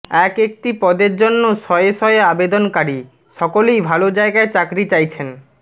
এক একটি পদের জন্য শয়ে শয়ে আবেদনকারী সকলেই ভাল জায়গায় চাকরি চাইছেন